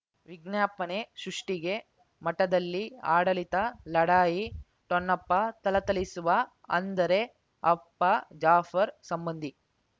ವಿಜ್ಞಾಪನೆ ಸೃಷ್ಟಿಗೆ ಮಠದಲ್ಲಿ ಆಡಳಿತ ಲಢಾಯಿ ಠೊಣ್ಣಪ್ಪ ಥಳಥಳಿಸುವ ಅಂದರೆ ಅಪ್ಪ ಜಾಫರ್ ಸಂಬಂಧಿ